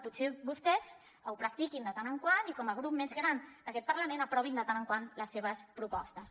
potser que vostès ho practiquin de tant en tant i com a grup més gran d’aquest parlament aprovin de tant en tant les seves propostes